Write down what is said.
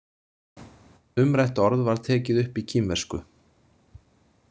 Umrætt orð var tekið upp í kínversku.